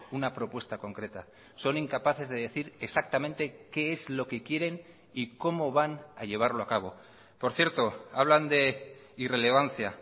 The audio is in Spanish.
una propuesta concreta son incapaces de decir exactamente qué es lo que quieren y cómo van a llevarlo a cabo por cierto hablan de irrelevancia